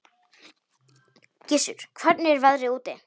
Gissur, hvernig er veðrið úti?